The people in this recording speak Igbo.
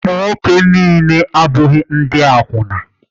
Ụmụ nwoke niile abụghị ndị akwụna